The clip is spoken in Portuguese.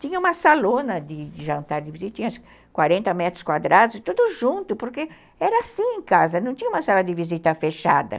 Tinha uma salona de de jantar e de visita, tinha uns quarenta metros quadrados, tudo junto, porque era assim em casa, não tinha uma sala de visita fechada.